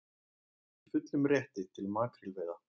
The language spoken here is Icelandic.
Í fullum rétti til makrílveiða